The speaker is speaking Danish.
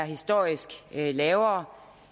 historisk er lavere